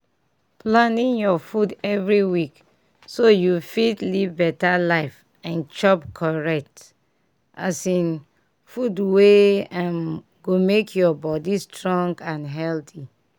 planing your food every week so you fit live better life and chop correct um food wey um go make your body strong and healthy.